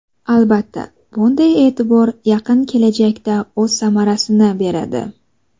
Albatta, bunday e’tibor yaqin kelajakda o‘z samarasini beradi.